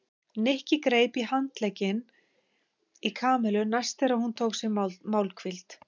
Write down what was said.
Nikki greip í handlegginn í Kamillu næst þegar hún tók sér málhvíld.